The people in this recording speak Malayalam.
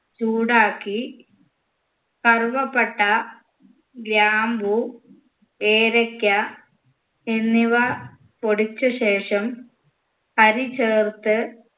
ചൂടാക്കി കറുവപ്പട്ട ഗ്രാമ്പൂ ഏലയ്ക്ക എന്നിവ പൊടിച്ച ശേഷം അരി ചേർത്ത്